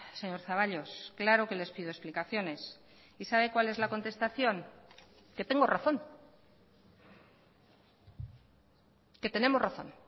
señor zaballos claro que les pido explicaciones y sabe cuál es la contestación que tengo razón que tenemos razón